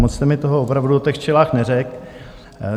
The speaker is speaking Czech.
Moc jste mi toho opravdu o těch včelách neřekl.